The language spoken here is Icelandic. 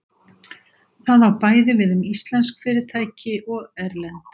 það á bæði við um íslensk fyrirtæki og erlend